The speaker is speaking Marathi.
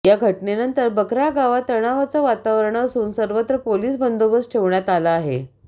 या घटनेनंतर बखरा गावात तणावाचं वातावरण असून सर्वत्र पोलीस बंदोबस्त ठेवण्यात आला आहे